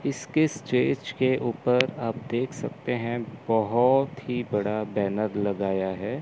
इसके स्टेज के ऊपर आप देख सकते है बहोत ही बड़ा बैनर लगाया है।